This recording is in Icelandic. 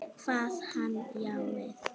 Kvað hann já við.